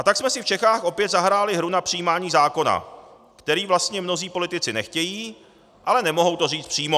A tak jsme si v Čechách opět zahráli hru na přijímání zákona, který vlastně mnozí politici nechtějí, ale nemohou to říct přímo.